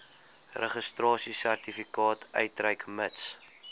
registrasiesertifikaat uitreik mits